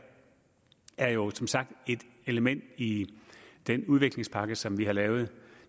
jo som sagt er et element i den udviklingspakke som vi har lavet